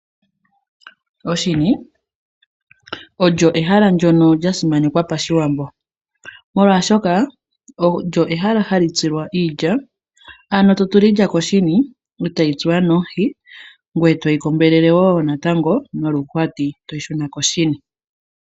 Oshini olyo ehala ndjono lya simanekwa pashiwambo, molwashoka olyo ehala hali tsilwa iilya, ano to tula iilya koshini, etayi tsuwa nomuhi ngoye to yi kombelele wo natango noluhwati, toyi shuna koshini.